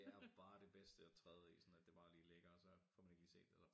Det er bare det bedste at træde i sådan at det bare lige ligger og så får man ikke lige set det og